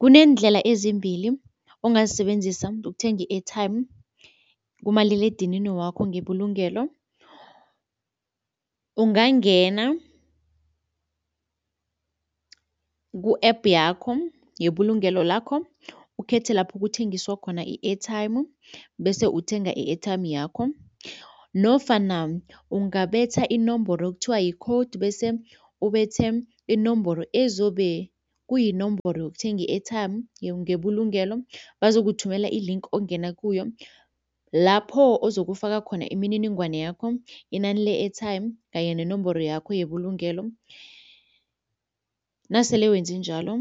Kuneendlela ezimbili ongazisebenzisa ukuthenga i-airtime kumaliledinini wakho ngebulungelo. Ungangena ku-app yakho yebulungelo lakho ukhethe lapho kuthengiswa khona i-airtime bese uthenga i-airtime yakho nofana ungabetha inomboro okuthiwa yi-code bese ubethe inomboro ezobe kuyinomboro yokuthenga i-airtime ngebulungelo, bazokuthumela i-link ongena kuyo lapho ozokufaka khona imininingwana yakho, inani le-airtime kanye nenomboro yakho yebulungelo. Nasele wenze njalo